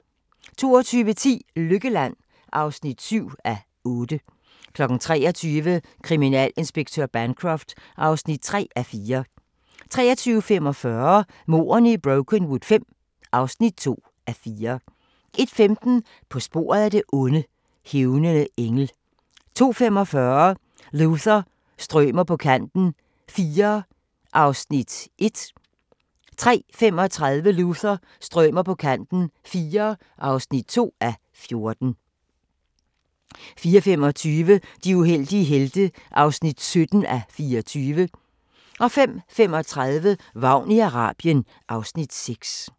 22:10: Lykkeland (7:8) 23:00: Kriminalinspektør Bancroft (3:4) 23:45: Mordene i Brokenwood V (2:4) 01:15: På sporet af det onde: Hævnende engel 02:45: Luther – strømer på kanten IV (1:14) 03:35: Luther – strømer på kanten IV (2:14) 04:25: De uheldige helte (17:24) 05:35: Vagn i Arabien (Afs. 6)